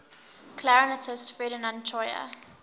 clarinetist ferdinand troyer